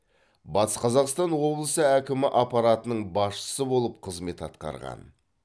батыс қазақстан облысы әкімі аппаратының басшысы болып қызмет атқарған